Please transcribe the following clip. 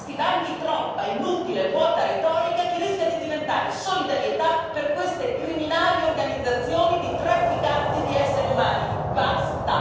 Sento da questi banchi troppa inutile e vuota retorica, che rischia di diventare solidarietà per queste criminali organizzazioni di trafficanti di esseri umani.